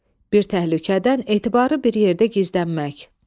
Bir təhlükədən etibarı bir yerdə gizlənmək.